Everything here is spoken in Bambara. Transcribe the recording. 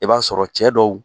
I b'a sɔrɔ cɛ dɔw